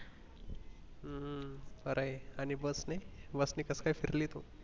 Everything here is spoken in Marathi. हम्म हम्म बरंय आणि bus नि वरती कसं काय फिरली तू